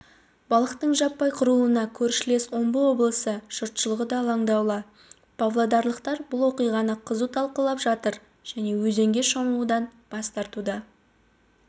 балықтың жаппай қырылуына көршілес омбы облысы жұртшылығы да алаңдаулы павлодарлықтар бұл оқиғаны қызу талқылап жатыр және өзенге шомылудан бас тартуда